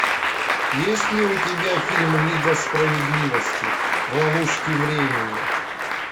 есть ли у тебя фильм лига справедливости в ловушке времени